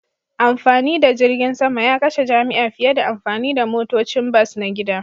Amfani da jirgin sama ya kashe jami'a fiye da amfani da motocin bas na gida